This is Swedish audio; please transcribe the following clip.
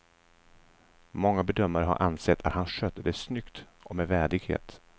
Många bedömare har ansett att han skötte det snyggt och med värdighet.